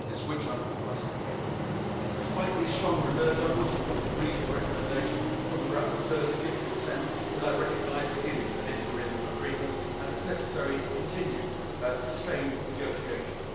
This witch hunt must end. Despite these strong reserves, I will support the reasoned recommendation from the rapporteur to give consent, as I recognise that it is an interim agreement and that it is necessary to continue sustained negotiations.